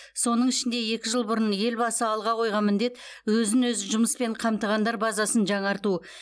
соның ішінде екі жыл бұрын елбасы алға қойған міндет өзін өзі жұмыспен қамтығандар базасын жаңарту